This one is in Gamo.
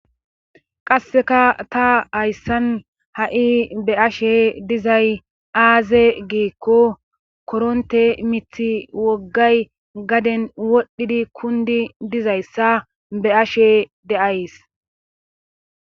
qasseka ta hayssan ha7i be ashe dizay aaze geekko koronte mithi woggay gaden wodhdhidi kundi dizayssa be ashe deays